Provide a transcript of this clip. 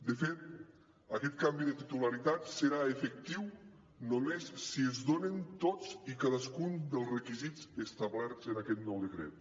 de fet aquest canvi de titularitat serà efectiu només si es donen tots i cadascun dels requisits establerts en aquest nou decret